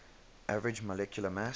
average molecular mass